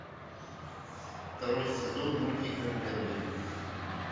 второй сезон мультика мерлин